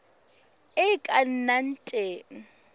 e e ka nnang teng